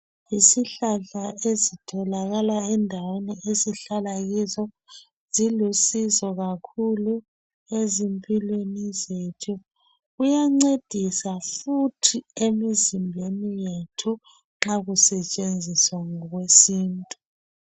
Isihlahla ezitholakala endaweni esihlala kizo zilusizo kakhulu ezimpilweni zethu kuyancedisa futhi emizimbeni yethu nxa kusetshenziswa ngokwe sintu